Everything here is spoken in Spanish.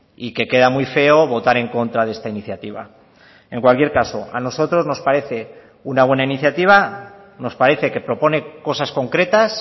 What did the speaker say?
y que queda muy feo votar en contra de esta iniciativa en cualquier caso a nosotros nos parece una buena iniciativa nos parece que propone cosas concretas